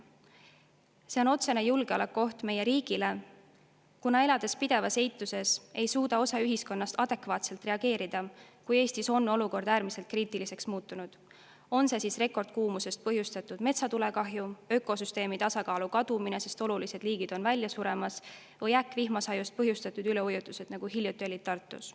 See on otsene julgeolekuoht meie riigile, kuna elades pidevas eituses, ei suuda osa ühiskonnast adekvaatselt reageerida, kui Eestis olukord äärmiselt kriitiliseks muutub, olgu kõne all rekordkuumusest põhjustatud metsatulekahju, ökosüsteemi tasakaalu kadumine, sest olulised liigid on välja suremas, või äkkvihmasajust põhjustatud üleujutused, nagu hiljuti olid Tartus.